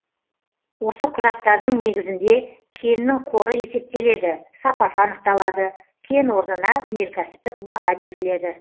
осы құжаттардың негізінде кеннің қоры есептеледі сапасы анықталады кен орнына өнеркәсіптік баға беріледі